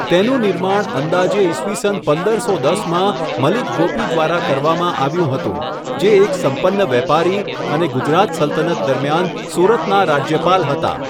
તેનું નિર્માણ અંદાજે ઇસવીસન પંદરસો દસમાં મલિક ગોપી દ્વારા કરવામાં આવ્યું હતું, જે એક સંપન્ન વેપારી અને ગુજરાત સલ્તનત દરમિયાન સુરતના રાજ્યપાલ હતા.